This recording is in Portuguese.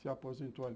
Se aposentou ali.